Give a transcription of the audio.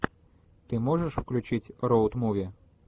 ты можешь включить роуд муви